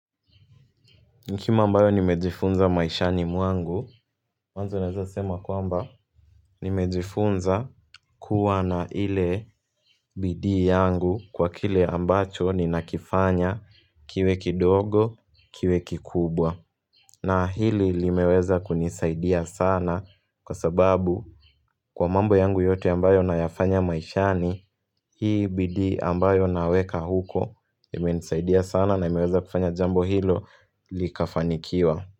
Hekima ambayo nimejifunza maishani mwangu, mwanzo naweza sema kwamba nimejifunza kuwa na ile bidii yangu kwa kile ambacho ninakifanya kiwe kidogo, kiwe kikubwa. Na hili limeweza kunisaidia sana kwa sababu kwa mambo yangu yote ambayo nayafanya maishani, hii bidii ambayo naweka huko imenisaidia sana na imeweza kufanya jambo hilo likafanikiwa.